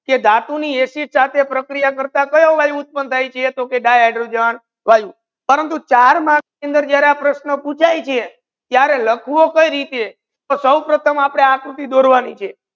કે દાતુની acid સાથે પ્રક્રિયા કરતા કયો વાયુ ઉત્પન થાય છે તો કે di hydrogen વાયુ પરંતુ ચાર marks અંદર જ્યારે આ પ્રશ્ર્ન પૂછાય છે ત્યારે લાખવુ કયી રીતે તો સૌ પ્રથમ આપને આકૃતિ દોરવાની છે.